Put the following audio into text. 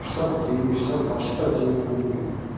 шестьдесят три шестьдесят два шестьдесят один рубль